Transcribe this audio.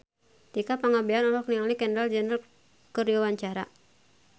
Tika Pangabean olohok ningali Kendall Jenner keur diwawancara